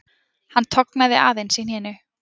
Hann tognaði aðeins í hnénu